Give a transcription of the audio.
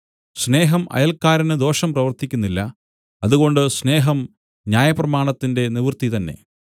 സ്നേഹം അയൽക്കാരന് ദോഷം പ്രവർത്തിക്കുന്നില്ല അതുകൊണ്ട് സ്നേഹം ന്യായപ്രമാണത്തിന്റെ നിവൃത്തി തന്നേ